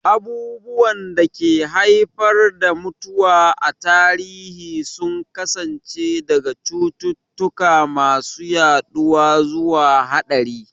Abubuwan da ke haifar da mutuwa a tarihi sun kasance daga cututtuka masu yaduwa zuwa haɗari.